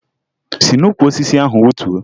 Si n'ukwu osisi ahụ wutuo!